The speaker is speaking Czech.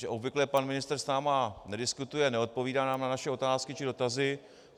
Že obvykle pan ministr s námi nediskutuje, neodpovídá nám na naše otázky či dotazy.